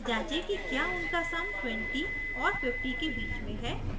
जाँचें कि क्या उनका सम 20 और 50 के बीच में है